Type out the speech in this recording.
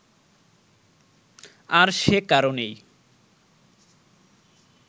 আর সে কারণেই